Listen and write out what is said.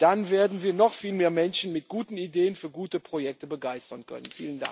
Dann werden wir noch viel mehr Menschen mit guten Ideen für gute Projekte begeistern können.